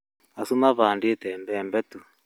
Acio mahandĩte mbembe tu